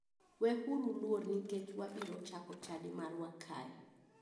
We uru luor nikech wabiro chako chadi marwa kae.